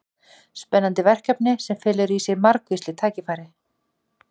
Spennandi verkefni sem felur í sér margvísleg tækifæri.